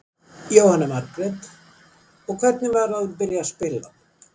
Jóhanna Margrét: Og, hvernig var að byrja að spila hann?